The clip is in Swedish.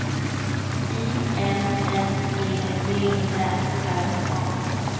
I N N E B Ä R A